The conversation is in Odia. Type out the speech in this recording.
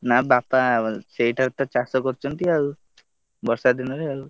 ନା ବାପା ସେଇଠାରେ ତ ଚାଷ କରୁଛନ୍ତି ଆଉ ବର୍ଷା ଦିନରେ ଆଉ।